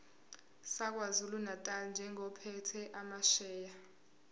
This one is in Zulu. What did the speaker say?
sakwazulunatali njengophethe amasheya